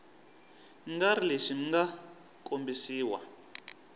nga ri lexi mga kombisiwa